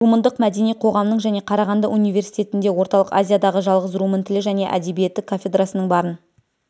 румындық мәдени қоғамның және қарағанды университетінде орталық азиядағы жалғыз румын тілі және әдебиеті кафедрасының барын